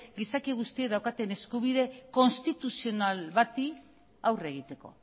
gizaki guztiek daukaten eskubide konstituzional bati aurre egiteko